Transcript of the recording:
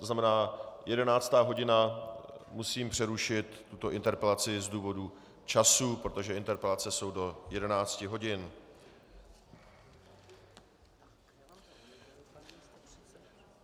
To znamená, jedenáctá hodina, musím přerušit tuto interpelaci z důvodu času, protože interpelace jsou do jedenácti hodin.